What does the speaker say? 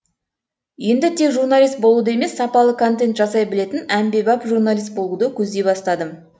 енді тек журналист болуды емес сапалы контент жасай білетін әмбебап журналист болуды көздей бастадым